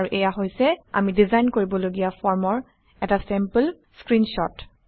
আৰু এয়া হৈছে আমি ডিজাইন কৰিবলগীয়া ফৰ্মৰ এটা চেম্পল স্ক্ৰীনশ্বট